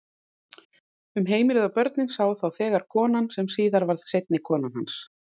Um heimilið og börnin sá þá þegar kona sem síðar varð seinni kona hans.